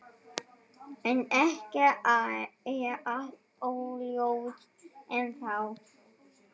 En það er allt óljóst ennþá.